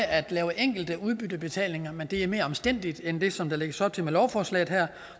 at lave enkelte udbyttebetalinger men det er mere omstændeligt end det som der lægges op til med lovforslaget her